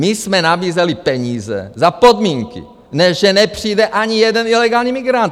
My jsme nabízeli peníze za podmínky, že nepřijde ani jeden ilegální migrant!